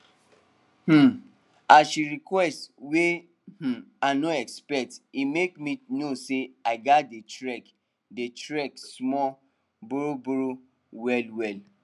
um as she request wey um i no expect e make me know say i gats dey track dey track small borrow borrow well well